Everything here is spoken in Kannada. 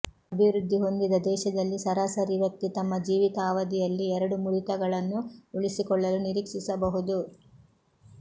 ಅಭಿವೃದ್ಧಿ ಹೊಂದಿದ ದೇಶದಲ್ಲಿ ಸರಾಸರಿ ವ್ಯಕ್ತಿ ತಮ್ಮ ಜೀವಿತಾವಧಿಯಲ್ಲಿ ಎರಡು ಮುರಿತಗಳನ್ನು ಉಳಿಸಿಕೊಳ್ಳಲು ನಿರೀಕ್ಷಿಸಬಹುದು